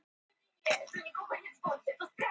Eldhúsið var tómt og allt í einu mjög hrörlegt að sjá